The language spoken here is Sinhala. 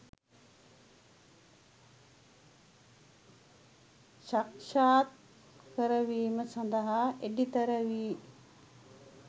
සාක්ෂාත් කරවීම සඳහා එඩිතරවී